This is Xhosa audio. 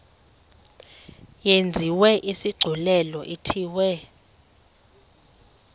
yenziwe isigculelo ithiwe